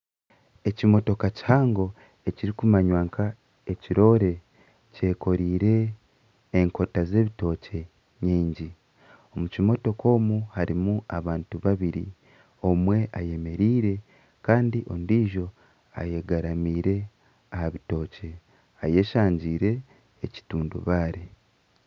Ekimotoka kihango ekirikumanywa nk'ekiroore kyekoriire enkota z'ebitookye nyingi, omu kimotoka omwe harimu abantu babiri, omwe eyemereire kandi ondiijo eyegaramiire aha bitookye eyeshangiire ekitundubaare